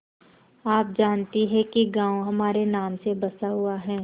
आप जानती हैं कि गॉँव हमारे नाम से बसा हुआ है